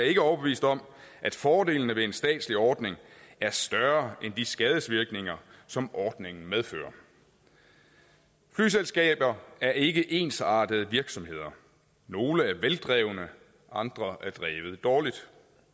er ikke overbevist om at fordelene ved en statslig ordning er større end de skadesvirkninger som ordningen medfører flyselskaber er ikke ensartede virksomheder nogle er veldrevne andre er drevet dårligt